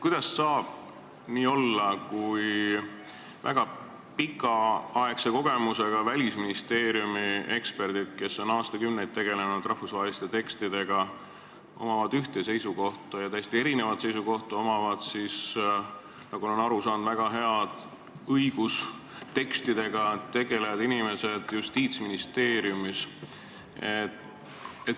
Kuidas saab nii olla, et väga pikaaegse kogemusega Välisministeeriumi eksperdid, kes on aastakümneid tegelenud rahvusvaheliste tekstidega, on ühel seisukohal, ja täiesti erineval seisukohal on, nagu ma olen aru saanud, väga kompetentsed õigustekstidega tegelevad inimesed Justiitsministeeriumis?